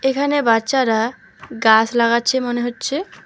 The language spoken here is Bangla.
এখানে বাচ্চারা গাছ লাগাচ্ছে মনে হচ্ছে।